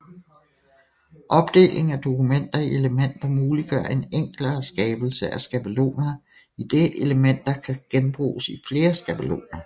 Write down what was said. Opdeling af dokumenter i elementer muliggør en enklere skabelse af skabeloner idet elementer kan genbruges i flere skabeloner